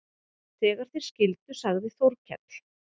Þegar þeir skildu sagði Þórkell